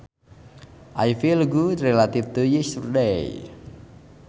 I feel good relative to yesterday